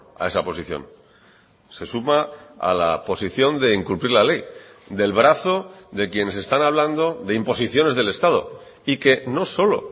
a esa posición se suma a la posición de incumplir la ley del brazo de quienes están hablando de imposiciones del estado y que no solo